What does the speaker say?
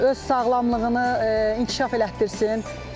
Öz sağlamlığını inkişaf elətdirsin.